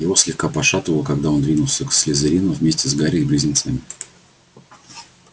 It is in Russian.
его слегка пошатывало когда он двинулся к слизерину вместе с гарри и близнецами